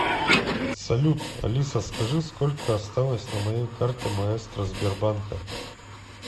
салют алиса скажи сколько осталось на моей карте маэстро сбербанка